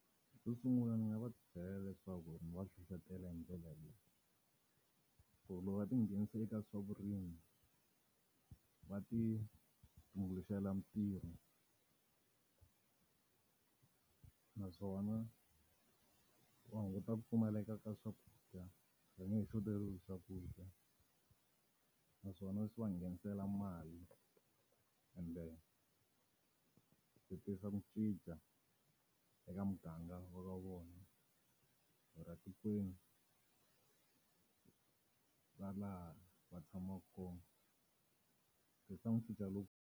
Xu sungula ni nga va byela leswaku ndzi va hlohletela hi ndlela leyi. Ku loko va ti nghenisa eka swa vurimi, va ti tumbuluxela mintirho. Naswona va hunguta ku pfumaleka ka swakudya, va nge he xoteriwi hi swakudya. Naswona swi va nghenisela mali ende swi tisa ku cinca eka muganga wa ka vona, or-a tikweni ra laha va tshamaka kona. Swi tisa ku cinca .